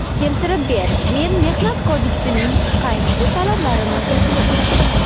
Keltirib ber, men Mehnat kodeksining qaysi talabini buzdim?